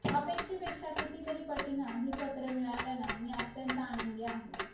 अपेक्षेपेक्षा किती तरी पटीनं ही पत्रं मिळाल्यानं मी अत्यंत आनंदी आहे